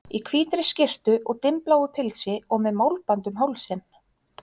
Í hvítri skyrtu og dimmbláu pilsi og með málband um hálsinn.